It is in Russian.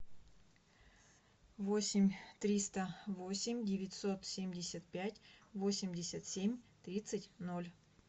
восемь триста восемь девятьсот семьдесят пять восемьдесят семь тридцать ноль